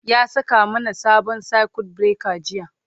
ya saka mana sabon circuit breaker jiya